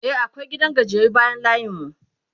e akwai gidan gajiyayyu bayan layin mu